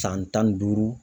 San tan ni duuru.